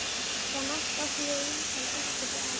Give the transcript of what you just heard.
Þar næst áttu þeir eintal biskup og Ari.